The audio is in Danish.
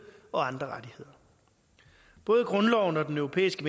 og andre rettigheder både grundloven og den europæiske